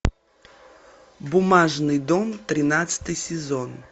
бумажный дом тринадцатый сезон